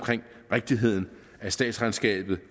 rigtigheden af statsregnskabet